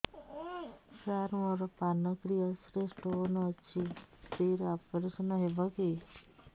ସାର ମୋର ପାନକ୍ରିଆସ ରେ ସ୍ଟୋନ ଅଛି ଫ୍ରି ରେ ଅପେରସନ ହେବ କି